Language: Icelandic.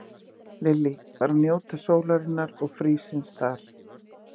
Lillý: Bara njóta sólarinnar og frísins þar?